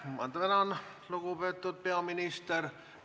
Ma tänan, lugupeetud peaminister!